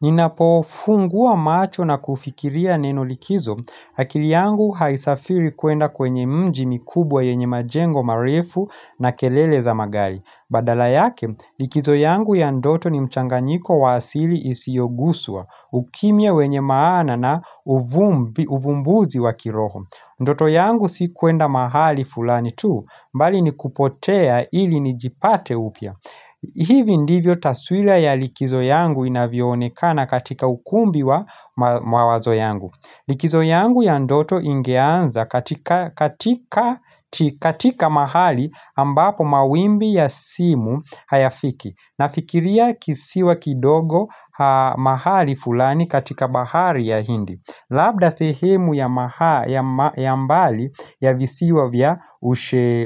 Ninapo funguwa macho na kufikiria neno likizo, akili yangu haisafiri kuenda kwenye mji mikubwa yenye majengo marefu na kelele za magali. Badala yake, likizo yangu ya ndoto ni mchanganyiko waasili isiogusua, ukimia wenye maana na uvumbuzi wakiroho. Ndoto yangu si kuenda mahali fulani tu, mbali ni kupotea ili ni jipate upya. Hivi ndivyo taswila ya likizo yangu inavionekana katika ukumbi wa mawazo yangu. Likizo yangu ya ndoto ingeanza katika mahali ambapo mawimbi ya simu hayafiki. Nafikiria kisiwa kidogo mahali fulani katika bahari ya hindi. Labda sehemu ya mbali ya visiwa vya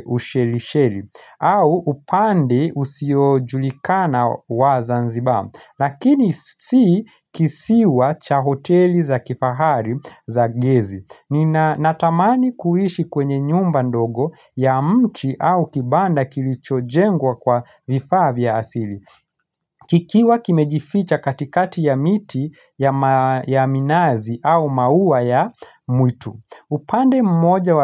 usheri sheri. Au upande usiojulikana wa zanzibar. Lakini si kisiwa cha hoteli za kifahari za gezi. Ni natamani kuishi kwenye nyumba ndogo ya mti au kibanda kilicho jengwa kwa vifaa vya asili kikiwa kimejificha katikati ya miti ya minazi au mauwa ya mwitu upande mmoja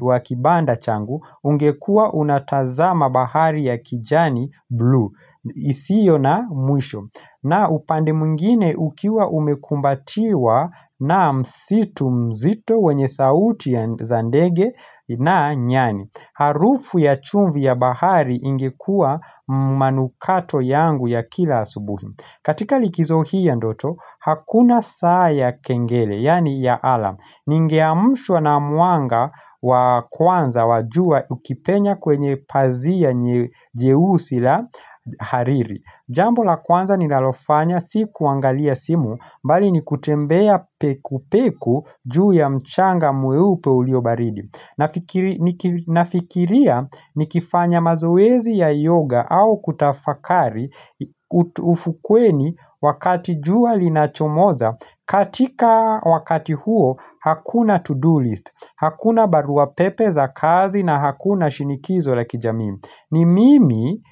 wa kibanda changu ungekua unatazama bahari ya kijani blue isio na mwisho na upande mungine ukiwa umekumbatiwa na msitu mzito wenye sauti za zandege na nyani Harufu ya chumvi ya bahari ingekua manukato yangu ya kila subuhi katika likizo hii ya ndoto, hakuna saa ya kengele, yani ya alam Ningiamshua na mwanga wa kwanza wajua ukipenya kwenye pazia nye jeusi la hariri Jambo la kwanza ni nalofanya si kuangalia simu mbali ni kutembea peku peku juu ya mchanga mweupe ulio baridi Nafikiria ni kifanya mazoezi ya yoga au kutafakari ufukweni wakati jua alinachomoza katika wakati huo hakuna to-do list Hakuna barua pepe za kazi na hakuna shinikizo la kijami ni mimi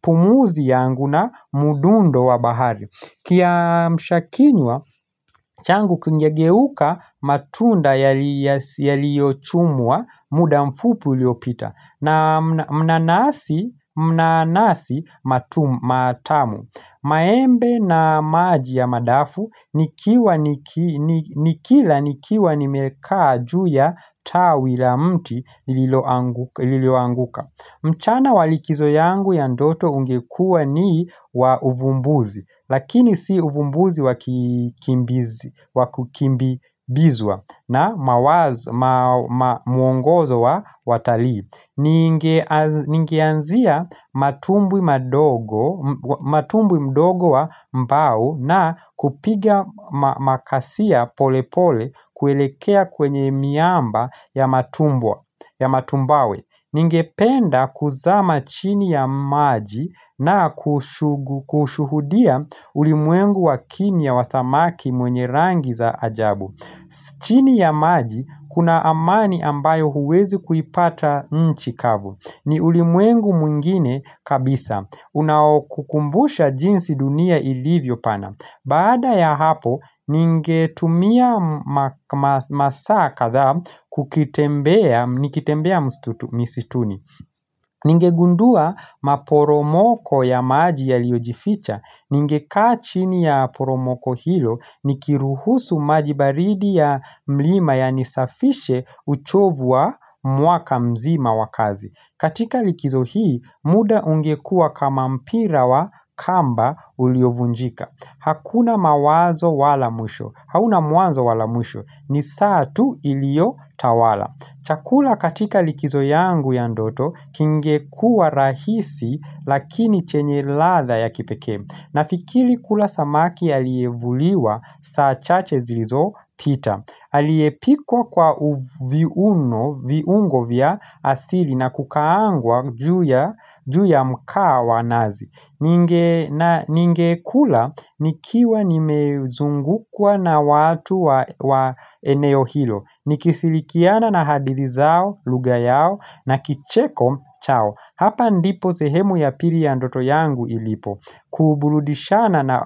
pumuzi yangu na mudundo wa bahari kia mshakinywa changu kingegeuka matunda yaliochumua muda mfupi uliopita na mnanasi matamu maembe na maji ya madafu nikila nikiwa nimekaa juu ya tawi la mti liloanguka mchana walikizo yangu ya ndoto ungekua ni wa uvumbuzi, lakini si uvumbuzi wakukimbizwa na mwongozo wa watali. Ningianzia matumbwi mdogo wa mbau na kupiga makasia polepole kuelekea kwenye miamba ya matumbwawe. Ningependa kuzama chini ya maji na kushuhudia ulimwengu wakimia wasamaki mwenye rangi za ajabu chini ya maji kuna amani ambayo huwezi kuipata nchikavu ni ulimwengu mwingine kabisa Unaokukumbusha jinsi dunia ilivyo pana Baada ya hapo, ningetumia masaa kadha nikitembea misitu misituni. Ningegundua maporomoko ya maji ya liojificha. Ningekachini ya poromoko hilo nikiruhusu majibaridi ya mlima ya nisafishe uchovu wa mwaka mzima wa kazi. Katika likizo hii, muda ungekua kama mpira wa kamba uliovunjika. Hakuna mawazo wala mwisho. Hauna mwanzo wala mwisho. Ni saa tu ilio tawala. Chakula katika likizo yangu ya ndoto kingekua rahisi lakini chenye latha ya kipeke. Na fikili kula samaki alievuliwa saa chache zilizo pita. Aliepikwa kwa uviuno, viungo vya asili na kukaangwa juu ya mkaa wanazi Ninge kula nikiwa nimezungukwa na watu wa eneo hilo Nikisilikiana na hadithizao, lughayao na kicheko, chao Hapa ndipo sehemu ya pili ya ndoto yangu ilipo Kuburudishana na.